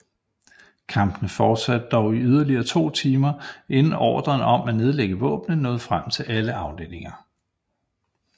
Kampene fortsatte dog i yderligere to timer inden ordren om at nedlægge våbnene nåede frem til alle afdelinger